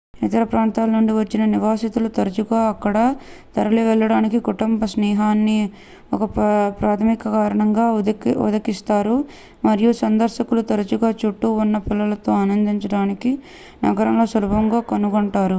ఇతర ప్రాంతాల నుండి వచ్చిన నివాసితులు తరచుగా అక్కడ తరలివెళ్లడానికి కుటుంబ-స్నేహాన్ని ఒక ప్రాథమిక కారణంగా ఉదకిస్తారు మరియు సందర్శకులు తరచుగా చుట్టూ ఉన్న పిల్లలతో ఆనందించడానికి నగరం సులభంగా కనుగొంటారు